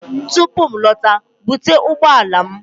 Tupu m alọta, bute ụgbọ ala m!